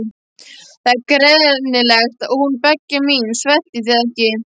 Það er greinilegt að hún Begga mín sveltir þig ekki.